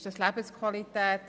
Ist das Lebensqualität?